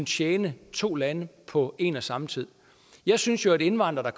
tjene to lande på en og samme tid jeg synes jo at indvandrere